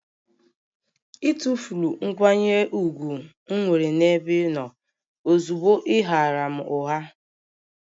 Ị tụfuru nkwanye ùgwù m nwere n'ebe ị nọ ozugbo ị ghaara m ụgha